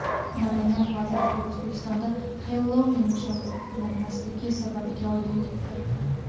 Madaniyat vazirligi O‘zbekistonda Xellouin nishonlanmasligi sababiga oydinlik kiritdi.